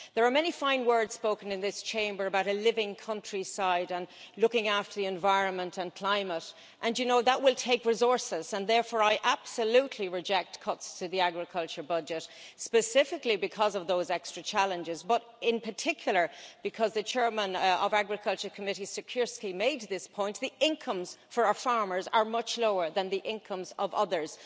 There are many fine words spoken in this Chamber about a living countryside and looking after the environment and climate, and you know that will take resources, and therefore I absolutely reject cuts to the agriculture budget, specifically because of those extra challenges but in particular because the Chair of the Committee on Agriculture and Rural Development, Mr Siekierski, made this point the incomes for our farmers are much lower than the incomes of others.